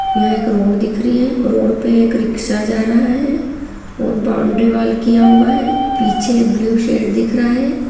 यह एक रोड दिख रही है रोड पे एक रिक्सा जा रहा है और बाउंड्री वाल किया हुआ है पीछे ब्लू शेड दिख रहा है।